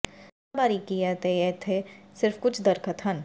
ਸਤ੍ਹਾ ਬਾਰੀਕੀ ਹੈ ਅਤੇ ਇੱਥੇ ਸਿਰਫ ਕੁਝ ਦਰਖ਼ਤ ਹਨ